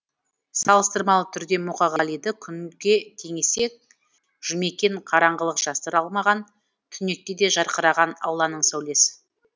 салыстырмалы түрде мұқағалиды күнге теңесек жұмекен қараңғылық жасыра алмаған түнекте де жарқыраған алланың сәулесі